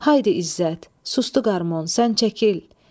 Haydi İzzət, sustu qarmon, sən çəkil.